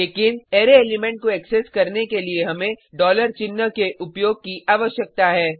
लेकिन array element को access करने के लिए हमें चिन्ह के उपयोग की आवश्यकता है